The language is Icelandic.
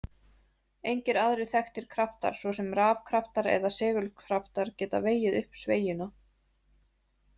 Engir aðrir þekktir kraftar, svo sem rafkraftar eða segulkraftar, geta vegið upp sveigjuna.